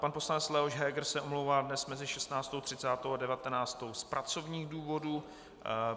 Pan poslanec Leoš Heger se omlouvá dnes mezi 16.30 a 19.00 z pracovních důvodů.